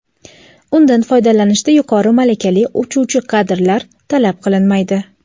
undan foydalanishda yuqori malakali uchuvchi kadrlar talab qilinmaydi.